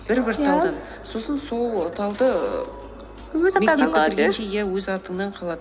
бір бір талдан иә сосын сол талды ііі иә өз атыңнан қалады